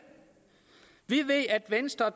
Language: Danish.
vi ved at venstre og